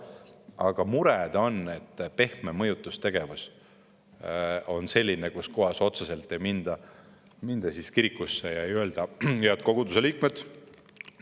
Aga mure on selles, et pehme mõjutustegevus on selline, et ei minda otse kirikusse ega öelda: "Head koguduse liikmed!